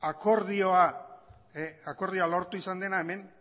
akordioa lortu izan dena hemen